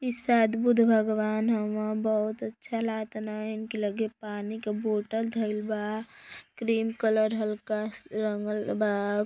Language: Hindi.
इ शायद बुद्ध भगवान हउव बहुत अच्छा लागतन इनके लगे पानी का बॉटल धइल बा। क्रीम कलर हल्का रंगल बा।